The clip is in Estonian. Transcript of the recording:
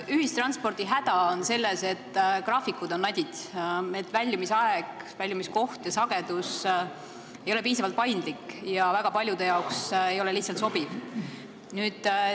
Ühistranspordi häda on selles, et graafikud on nadid, st väljumisaeg, väljumiskoht ja -sagedus ei ole piisavalt paindlik, väga paljudele see lihtsalt ei sobi.